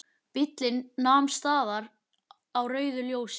Bíllinn nam staðar á rauðu ljósi.